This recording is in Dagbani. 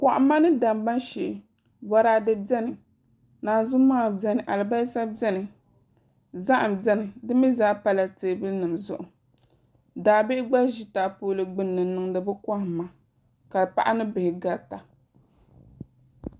Kohamma ni damma shee Boraadɛ biɛni naanzu maha biɛni alibarisa biɛni zaham biɛni di mii zaa pala teebuli nim zuɣu daabihi gba ʒi taapoli gbunni n niŋdi bi kohamma ka paɣa ni bihi garita